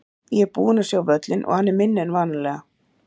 Ég er búinn að sjá völlinn og hann er minni en vanalega.